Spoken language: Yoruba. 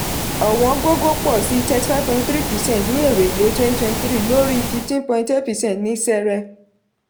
ọ̀wọ́n gógó pọ̀ sí thrity five point three percent ní èrè le twenty twenty three lórí fifteen point eight persent ní sẹrẹ.